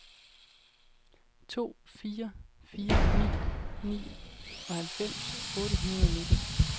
to fire fire ni nioghalvfems otte hundrede og nitten